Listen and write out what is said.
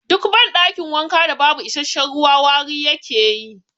Duk ban ɗakin wanka da babu isasshen ruwa wari yake yi